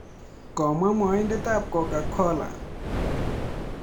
Komwaa mwaindet ap coca cola.